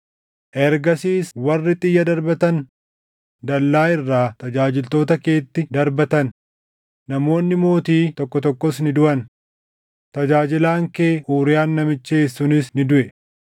Ergasiis warri xiyya darbatan dallaa irraa tajaajiltoota keetti darbatan; namoonni mootii tokko tokkos ni duʼan. Tajaajilaan kee Uuriyaan namichi Heet sunis ni duʼe.”